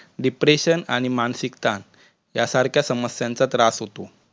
depression आणि मानसिकता या सारख्या समस्यांचा त्रास होतो.